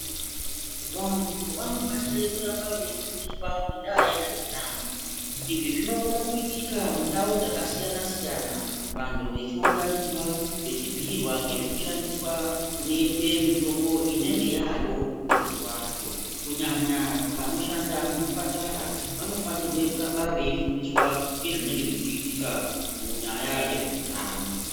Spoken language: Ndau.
Vantu vanofanire kuramba veifundiswa ngendaa yezveutano izvi zvinokone kuitika mundau dzakasiyana siyana vantu vechiunganidzwa vechibhuyirwa ngezvekushandisa kunoitwe mitombo inenge yayo mazuva acho kunyanya vanoshanda muzvipatara vanofanirwe kuramba veifundiswa ngezvinenge zvechiitika munyaya yezveutano.